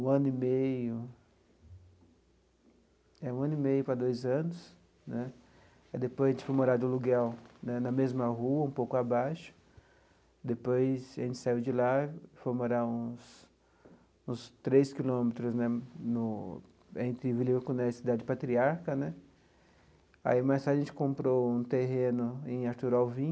um ano e meio, eh um ano e meio para dois anos né, depois a gente foi morar de aluguel né na mesma rua, um pouco abaixo, depois a gente saiu de lá, foi morar uns uns três quilômetros né no, entre Nhoconé e cidade patriarca né, aí mais tarde a gente comprou um terreno em Artur Alvim,